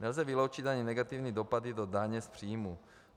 Nelze vyloučit ani negativní dopady do daně z příjmů.